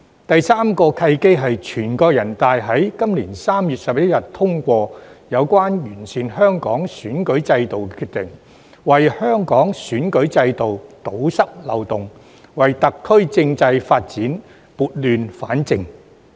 第三個契機是全國人大在今年3月11日通過有關完善香港選舉制度的決定，為香港選舉制度堵塞漏洞，為特區政制發展撥亂反正。